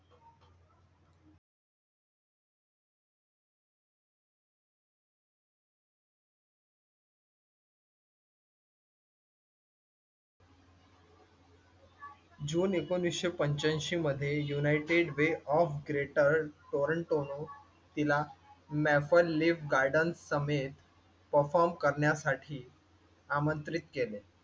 जून ऐकोनिसशे पंचाऐंशी मध्ये युनायटेड वे ऑफ ग्रेटर टोरंटोनं तिला मैफल लिफ गार्डन्स समेत परफॉर्म करण्यासाठी आमंत्रित केले.